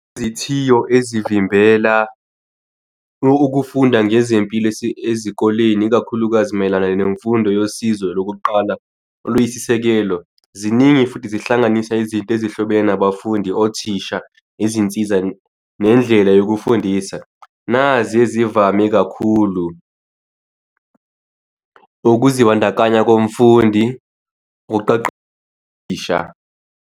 Izithiyo ezivimbela ukufunda ngezempilo ezikoleni ikakhulukazi mayelana nemfundo yosizo lokuqala oluyisisekelo, ziningi futhi zihlanganisa izinto ezihlobene, abafundi, othisha, izinsiza nendlela yokufundisa. Nazi ezivame kakhulu, ukuzibandakanya komfundi. Uqaqa othisha.